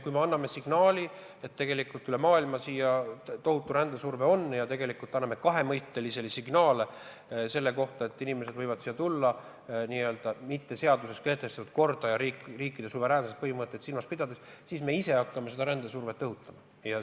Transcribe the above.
Kui me tunneme kogu maailmast avaldatavat tohutut rändesurvet ja anname kahemõttelisi signaale selle kohta, et inimesed võivad siia tulla ka ignoreerides seaduses kehtestatud korda ja riikide suveräänsuse põhimõtet, siis me ise hakkame seda rändesurvet õhutama.